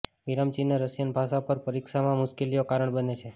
વિરામચિહ્ન Russian ભાષા પર પરીક્ષા માં મુશ્કેલીઓ કારણ બને છે